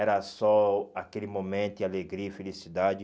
Era só aquele momento e alegria e felicidade.